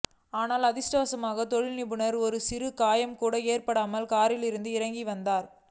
ஆனால் அதிர்ஷ்டவசமாக தொழிலதிபருக்கு ஒரு சிறு காயம் கூட ஏற்படாமல் காரில் இருந்து இறங்கி வந்த